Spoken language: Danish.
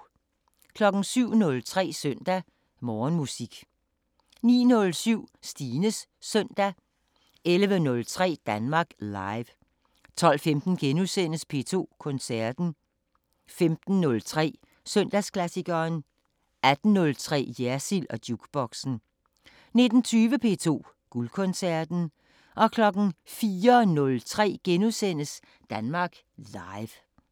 07:03: Søndag Morgenmusik 09:07: Stines Søndag 11:03: Danmark Live 12:15: P2 Koncerten * 15:03: Søndagsklassikeren 18:03: Jersild & Jukeboxen 19:20: P2 Guldkoncerten 04:03: Danmark Live *